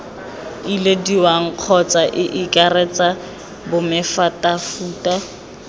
ilediwang kgotsa ii akaretsa bomefutafuta